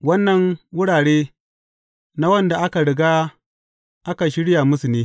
Waɗannan wurare na waɗanda aka riga aka shirya musu ne.